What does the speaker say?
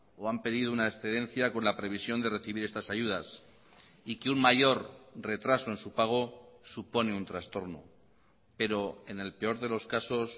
o han pedido una excedencia con la previsión de recibir estas ayudas y que un mayor retraso en su pago supone un trastorno pero en el peor de los casos